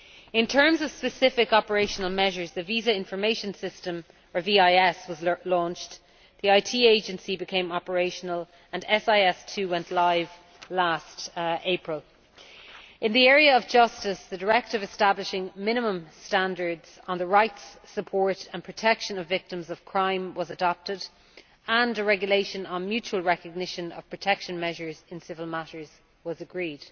In terms of specific operational measures, the Visa Information System was launched, the IT agency became operational and SIS II went live last April. In the area of justice, the Directive establishing minimum standards on the rights, support and protection of victims of crime was adopted and a regulation on mutual recognition of protection measures in civil matters was agreed.